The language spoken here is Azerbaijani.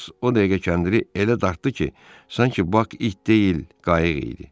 Hans o dəqiqə kəndiri elə dartdı ki, sanki Bak it deyil, qayıq idi.